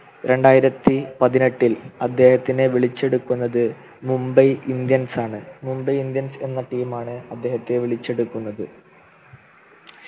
രണ്ടായിരത്തി പതിനെട്ടിൽ അദ്ദേഹത്തിനെ വിളിച്ചെടുക്കുന്നത് മുംബൈ Indians ആണ് മുംബൈ Indians എന്ന Team ആണ് അദ്ദേഹത്തെ വിളിച്ചെടുക്കുന്നത്